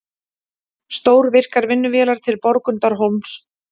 Stórvirkar vinnuvélar til Borgundarhólms